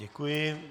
Děkuji.